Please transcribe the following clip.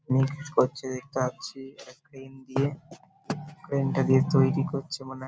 এবং কিছু করছে দেখতে পাচ্ছি-ই একটা ক্রেন দিয়ে ক্রেন -টা দিয়ে তৈরী করছে মানে --